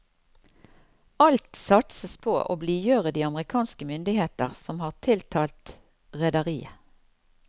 Alt satses på å blidgjøre de amerikanske myndigheter, som har tiltalt rederiet.